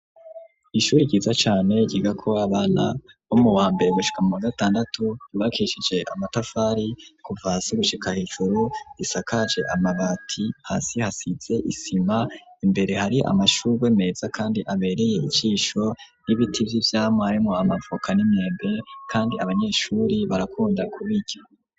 Ishuri ryiza cane ryigako abana bo muwa mbere gushika muwa gatandatu, ryubakishije amatafari kuva hasi gushika hejuru, isakaje amabati, hasi hasize isima, imbere hari amashurwe meza kandi abereye icisho n'ibiti vy'ivyamwa harimwo amavoka n'imyembe, kandi abanyeshuri barakunda kubirya.